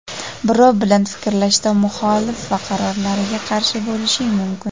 birov bilan fikrlashda muxolif va qarorlariga qarshi bo‘lishing mumkin.